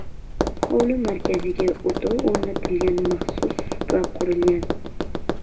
Hovli markaziga o‘tov o‘rnatiladigan maxsus supa qurilgan.